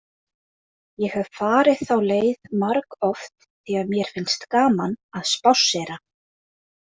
Ég hef farið þá leið margoft því að mér finnst gaman að spássera.